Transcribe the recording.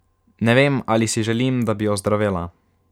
Ne vem, ali si želim, da bi ozdravela.